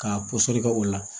K'a pɔsɔni kɛ o la